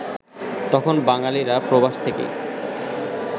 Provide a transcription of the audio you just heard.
তখন বাঙালিরা প্রবাস থেকেই